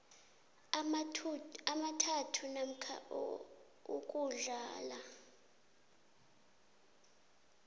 amathathu namkha ukudlula